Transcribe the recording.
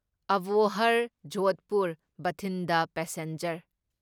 Abohar Jodhpur Bathinda passenger